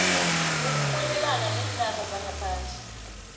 ukurhwebelana neenarha zangaphandle